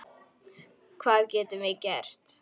Hvað getum við gert?